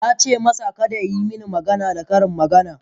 Na ce masa, Kada ya yi mini magana da karin magana